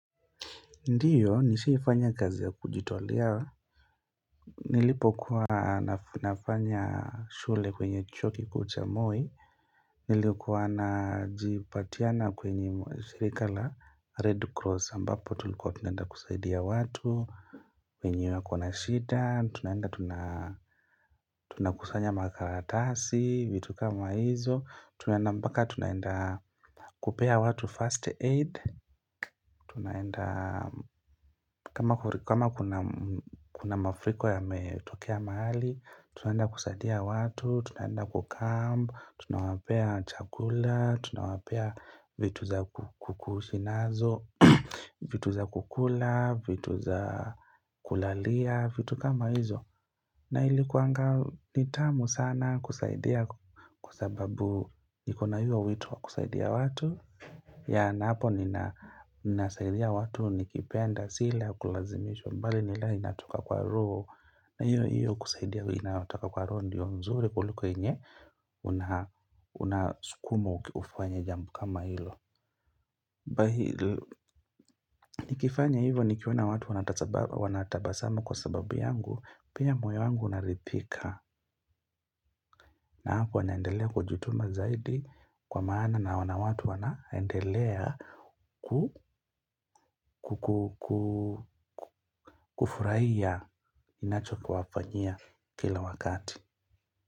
Ndiyo nishaifanya kazi ya kujitolea Nilipokuwa nafanya shule kwenye chuo kikuu cha Moi Nilikuwa na jipatiana kwenye shirika la red cross ambapo tulikuwa tunaenda kusaidia watu wenye wako na shida tunaenda tuna tunakusanya makaratasi vitu kama hizo tunaenda mpaka tunaenda kupea watu first aid Tunaenda kama kuna mafuriko yametokea mahali tunaenda kusaidia watu, tunaenda kucamp Tunawapea chakula, tunawapea vitu za kuishi nazo vitu za kukula, vitu za kulalia, vitu kama hizo na ilikuwanga ni tamu sana kusaidia kwasababu niko na hiyo wito wa kusaidia watu yeah na hapo ninasaidia watu nikipenda si ile ya kulazimishwa bali ni ile inatoka kwa roho na hiyo hiyo kusaidia inatoka kwa roho ndio nzuri kuliko yenye huna unasukumwa ufanye jambo kama hilo Nikifanya hivyo nikiona watu wanatabasamu kwa sababu yangu pia moyo wangu unaridhika na hapo naendelea kujituma zaidi kwa maana naona watu wanaendelea kufurahia ninacho kuwafanyia kila wakati.